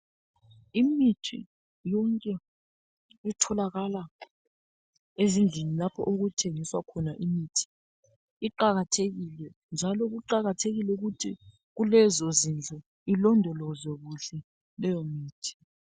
imithi yonke etholakala ezindlini lapho okuthengiswa khona imithi iqakathekile njalo kuqakathekile ukuthi kulezozindlu ilondolozwe kuhle leyo imithi